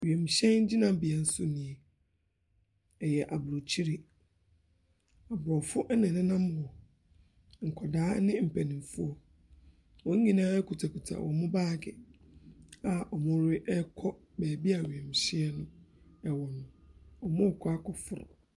Wiemhyɛn gyinabea so nie. Ɛyɛ aburokyire. Aborɔfo ɛna ɛnenam hɔ. Nkwadaa ne mpaninfoɔ, wonyinaa kutakuta ɔmo baage a ɔmo te ɛɛkɔ bebia wiemhyɛn no ɛwɔ no. Ɔmo kɔ akɔforo.